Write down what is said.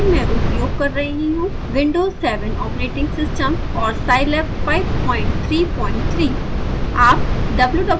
इस ट्यूटोरियल के के लिए मैं उपयोग कर रही हूँ विंडोज़7 ऑपरेटिंग सिस्टम और scilab 533